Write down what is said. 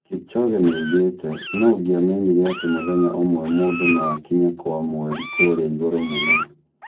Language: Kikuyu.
Kipchoge nĩoigĩte "nũ ongĩa menyire atĩ mũthenya ũmwe mũndũ no akinye kwa mweri kũrĩa igũrũ mũno?"